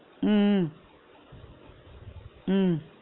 உம் உம் உம்